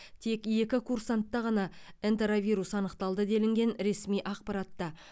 тек екі курсантта ғана энтеровирус анықталды делінген ресми ақпаратта